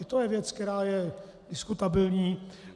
I to je věc, která je diskutabilní.